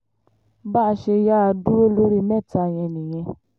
bá a ṣe yáa dúró lórí mẹ́ta yẹn nìyẹn